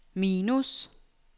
minus